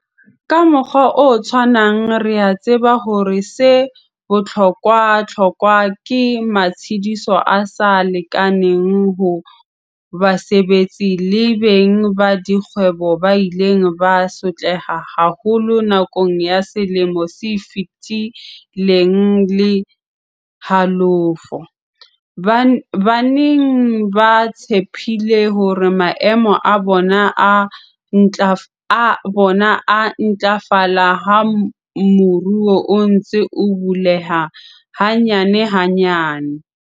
Ka mokgwa o tshwanang re a tseba hore 'se bohlokwahlokwa' ke matshediso a sa lekaneng ho basebetsi le beng ba dikgwebo ba ileng ba sotleha haholo nakong ya selemo se feti leng le halofo, ba neng ba tshepile hore maemo a bona a ntlafala ha moruo o ntse o buleha hanyanehanyane.